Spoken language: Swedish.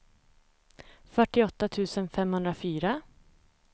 fyrtioåtta tusen femhundrafyra